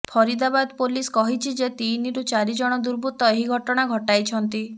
Faridabad police କହିଛି ଯେ ତିନିରୁ ଚାରିଜଣ ଦୁର୍ବୃତ୍ତ ଏହି ଘଟଣା ଘଟାଇଛନ୍ତି